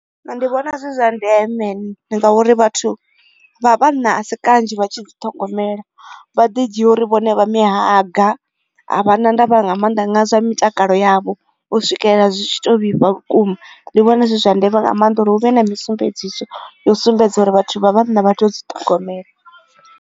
Nṋe ndi vhona zwi zwa ndeme ngauri vhathu vha vhanna a si kanzhi vha tshi dzi ṱhogomela vha ḓi dzhia uri vhone vha mihanga a vhana nda vha nga maanḓa nga nga zwa mitakalo yavho u swikelela zwi tshi to vhifha vhukuma ndi vhona zwi zwa ndeme nga maanḓa uri hu vhe na mi sumbedziso yo sumbedza uri vhathu vha vhanna vha tea u dzi ṱongomela.